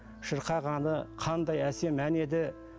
шырқағаны қандай әсем ән еді